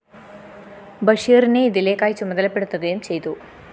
ബഷീറിനെ ഇതിലേക്കായി ചുമതലപ്പെടുത്തുകയും ചെയ്തു